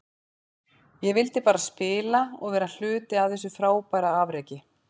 Ég vildi bara spila og vera hluti af þessu frábæra afreki.